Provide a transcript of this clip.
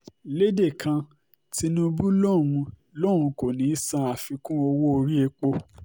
lédè kan tìǹbù lòún lòún kò ní í san àfikún owó-orí epo